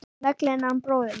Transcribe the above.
Naglinn hann bróðir minn.